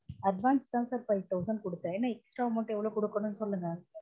advance தான் sir five thousand கொடுத்தன் இன்னும் extra amount எவ்லொ குடுக்கனும் சொல்லுங்க